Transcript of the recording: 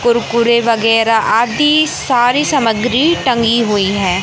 कुरकुरे वगैरा आदि सारी सामग्री टंगी हुई है।